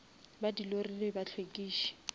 ba di lori le bahlwekiši